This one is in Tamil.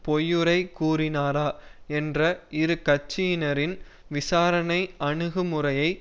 பொய்யுரை கூறினாரா என்ற இரு கட்சியினரின் விசாரணை அணுகு முறையை